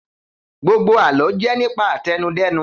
Gbogbo àlọ́ jẹ́ nípa àtẹnudẹ́nu